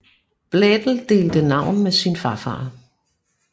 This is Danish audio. Blædel delte navn med sin farfar